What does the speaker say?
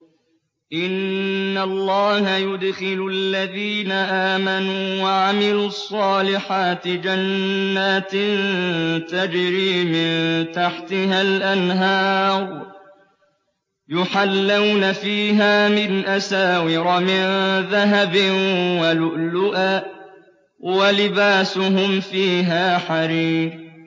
إِنَّ اللَّهَ يُدْخِلُ الَّذِينَ آمَنُوا وَعَمِلُوا الصَّالِحَاتِ جَنَّاتٍ تَجْرِي مِن تَحْتِهَا الْأَنْهَارُ يُحَلَّوْنَ فِيهَا مِنْ أَسَاوِرَ مِن ذَهَبٍ وَلُؤْلُؤًا ۖ وَلِبَاسُهُمْ فِيهَا حَرِيرٌ